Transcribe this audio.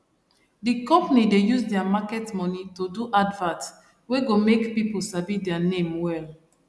d company dey use their market money to do advert wey go make people sabi dia name well